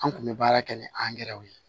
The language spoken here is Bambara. An kun bɛ baara kɛ ni angɛrɛw ye